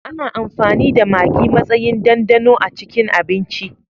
Ana amfani da Magi matsayin dandano a cikin abinci.